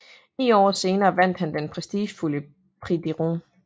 Ni år senere vandt han den prestigefyldte Prix de Rome